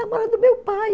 do meu pai.